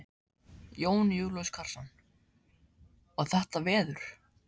Jón Júlíus Karlsson: Og þetta veður?